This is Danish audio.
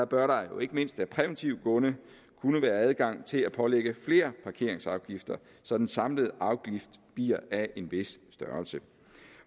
bør der jo ikke mindst af præventive grunde kunne være adgang til at pålægge flere parkeringsafgifter så den samlede afgift bliver af en vis størrelse